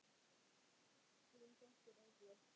Þín dóttir, Eygló.